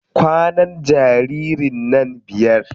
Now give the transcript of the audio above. Kwanan jaririn nan biyar.